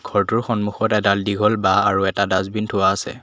ঘৰটোৰ সন্মুখত এডাল দীঘল বাঁহ আৰু এটা ডাছবিন থোৱা আছে।